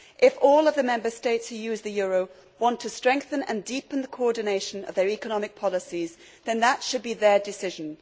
If all the Member States who use the euro want to strengthen and deepen the coordination of their economic policies, then that should be their decision.